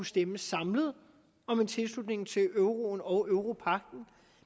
stemme samlet om en tilslutning til euroen og europagten